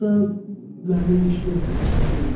Burda da mənlik iş yoxdur, çıxım gedim.